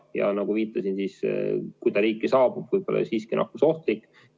Ja nagu viitasin, kui ta riiki saabub, võib ta olla siiski nakkusohtlik.